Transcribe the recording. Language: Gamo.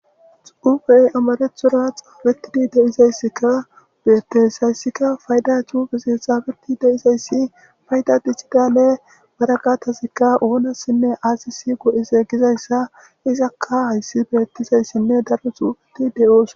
Xufey amarethora xaabetidi deizayssikka beettes hayssikka fayda cufeseethafeti deizayssi fayda dichidaale baraqatasikka oonassinne aasisi go7ise gizayssa izakka hayssi beettizayssinne daro xuufeti de7oos.